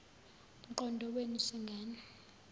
mqondo wenu zingane